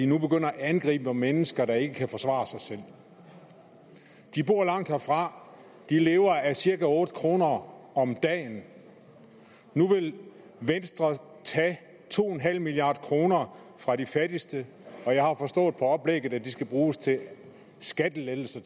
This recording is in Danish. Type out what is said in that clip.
nu begynder at angribe mennesker der ikke kan forsvare sig selv de bor langt herfra de lever af cirka otte kroner om om dagen nu vil venstre tage to en halv milliard kroner fra de fattigste og jeg har forstået på oplægget at de skal bruges til skattelettelser